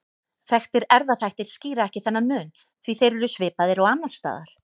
Þekktir erfðaþættir skýra ekki þennan mun því þeir eru svipaðir og annars staðar.